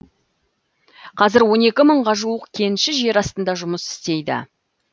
қазір он екі мыңға жуық кенші жер астында жұмыс істейді